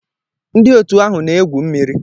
Ndị otu ahụ na-egwu mmiri.